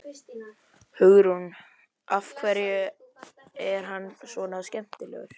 Hugrún: Af hverju er hann svona skemmtilegur?